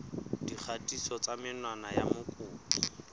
dikgatiso tsa menwana ya mokopi